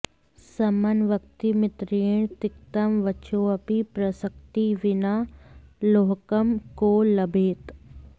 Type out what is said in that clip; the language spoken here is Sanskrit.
समं वक्ति मित्रेण तिक्तं वचोऽपि प्रसक्ति विना लोहकं को लभेत्